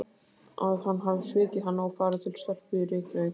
Að hann hafi svikið hana og farið til stelpu í Reykjavík?